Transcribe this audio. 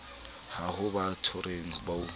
a ho ba bothateng bo